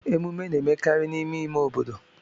Ememe na-emekarị n'ime ime obodo.